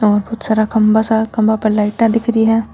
बहुत सारा खम्भा सा खम्भा पर लाइटा दिख री है।